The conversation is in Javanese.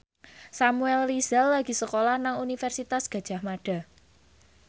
Samuel Rizal lagi sekolah nang Universitas Gadjah Mada